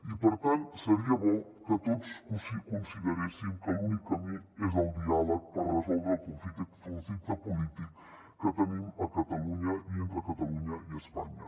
i per tant seria bo que tots consideressin que l’únic camí és el diàleg per resoldre el conflicte polític que tenim a catalunya i entre catalunya i espanya